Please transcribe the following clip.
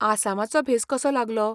आसामाचो भेस कसो लागलो?